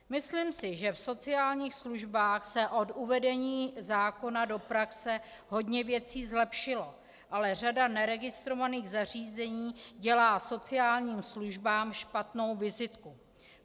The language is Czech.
Myslím si, že v sociálních službách se od uvedení zákona do praxe hodně věcí zlepšilo, ale řada neregistrovaných zařízení dělá sociálním službám špatnou vizitku.